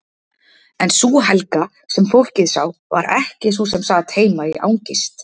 En sú Helga, sem fólkið sá, var ekki sú sem sat heima í angist.